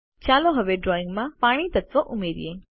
ચાલો હવે ડ્રોઈંગમાં પાણી તત્વ ઉમેરીએ